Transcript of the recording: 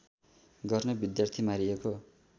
गर्ने विद्यार्थी मारिएको